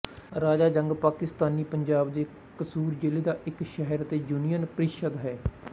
ਰਾਜਾ ਜੰਗ ਪਾਕਿਸਤਾਨੀ ਪੰਜਾਬ ਦੇ ਕਸੂਰ ਜ਼ਿਲ੍ਹੇ ਦਾ ਇੱਕ ਸ਼ਹਿਰ ਅਤੇ ਯੂਨੀਅਨ ਪ੍ਰੀਸ਼ਦ ਹੈ